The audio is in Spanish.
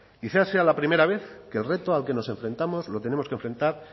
quizá sea la primera vez que el reto al que nos enfrentamos lo tenemos que enfrentar